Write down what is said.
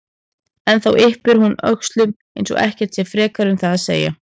En þá yppir hún öxlum eins og ekkert sé frekar um það að segja.